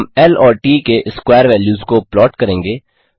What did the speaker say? हम ल और ट के स्क्वायर वेल्यूज को प्लाट करेंगे